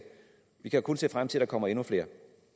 vi kan kun se frem til at der kommer endnu flere